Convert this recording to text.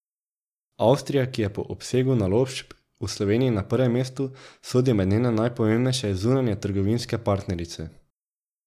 Avstrija, ki je po obsegu naložb v Sloveniji na prvem mestu, sodi med njene najpomembnejše zunanjetrgovinske partnerice.